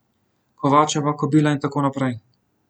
Kovačeva kobila in tako naprej.